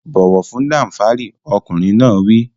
Bọ̀wọ̀ fún Danfari! Ọkùnrin náà wí.